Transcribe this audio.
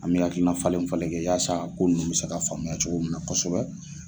An bɛ hakilina falen falen kɛ yaasa ko ninnu bɛ se ka faamuya cogo minna kosɛbɛ